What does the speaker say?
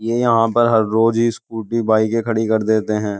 ये यहां पर हर रोज ही बाइके खड़ी कर देते हैं।